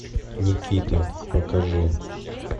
никита покажи